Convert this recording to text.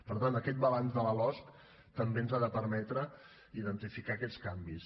per tant aquest balanç de la losc també ens ha de permetre identificar aquests canvis